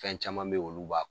Fɛn caman be ye olu b'a